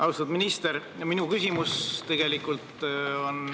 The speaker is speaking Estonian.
Austatud minister!